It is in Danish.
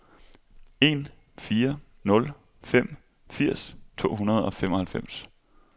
en fire nul fem firs to hundrede og femoghalvfems